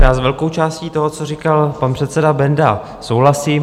Já s velkou částí toho, co říkal pan předseda Benda, souhlasím.